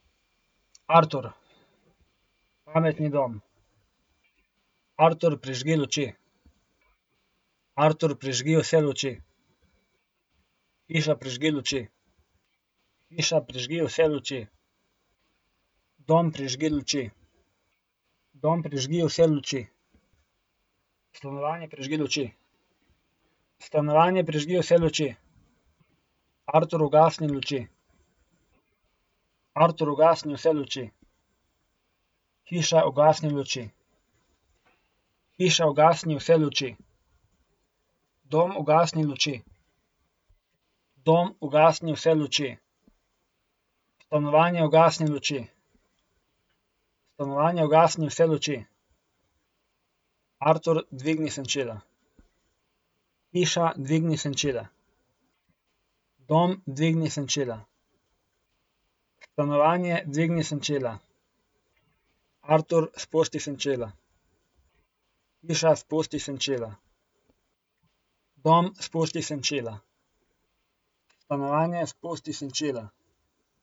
Artur. Pametni dom. Artur, prižgi luči. Artur, prižgi vse luči. Hiša, prižgi luči. Hiša, prižgi vse luči. Dom, prižgi luči. Dom, prižgi vse luči. Stanovanje, prižgi luči. Stanovanje, prižgi vse luči. Artur, ugasni luči. Artur, ugasni vse luči. Hiša, ugasni luči. Hiša, ugasni vse luči. Dom, ugasni luči. Dom, ugasni vse luči. Stanovanje, ugasni luči. Stanovanje, ugasni vse luči. Artur, dvigni senčila. Hiša, dvigni senčila. Dom, dvigni senčila. Stanovanje, dvigni senčila. Artur, spusti senčila. Hiša, spusti senčila. Dom, spusti senčila. Stanovanje, spusti senčila.